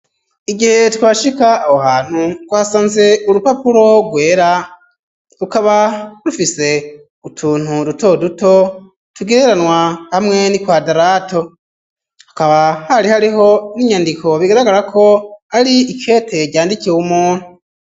Igihe twashika aho hantu twasanze urupapuro rwera rukaba rufise utuntu duto duto tugereranwa hamwe n'ikwadarato akaba hari hariho n'inyandiko bigaragara ko ari ikete ryandikiwe w'umuntu.